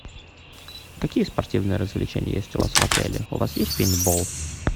какие спортивные развлечения есть у вас в отеле у вас есть пейнтбол